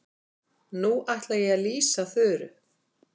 Nú ætla ég að lýsa Þuru.